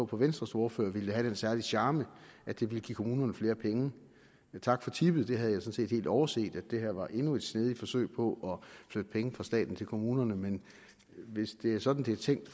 på venstres ordfører at det ville have den særlige charme at det ville give kommunerne flere penge tak for tippet jeg havde sådan set helt overset at dette var endnu et snedigt forsøg på at flytte penge fra staten til kommunerne men hvis det er sådan det er tænkt